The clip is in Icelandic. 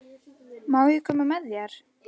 Má ég koma með þér?